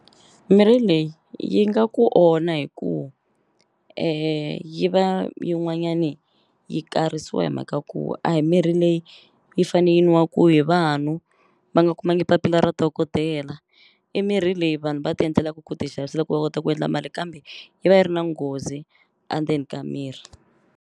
Mirhi leyi yi nga ku onha hi ku yi va yin'wanyani yi karisiwa hi mhaka ku a hi mirhi leyi yi fane yi nwaku hi vanhu va nga kumangi papila ra dokodela i mirhi leyi vanhu va ti endlelaku ku ti xavisela ku va kota ku endla mali kambe yi va yi ri na nghozi andzeni ka miri.